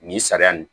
Nin sariya nin